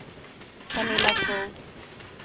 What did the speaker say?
Pernilla Skog